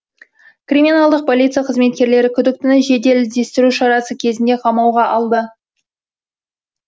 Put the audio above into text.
криминалдық полиция қызметкерлері күдіктіні жедел іздестіру шарасы кезінде қамауға алды